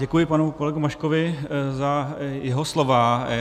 Děkuji panu kolegovi Maškovi za jeho slova.